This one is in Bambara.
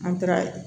An taara